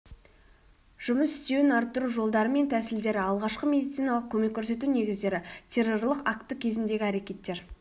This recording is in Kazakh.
жұмыс істеуін арттыру жолдары мен тәсілдері алғашқы медициналық көмек көрсету негіздері террорлық акті кезіндегі әрекеттер